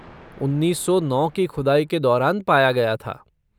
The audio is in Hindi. उन्नीस सौ नौ की खुदाई के दौरान पाया गया था।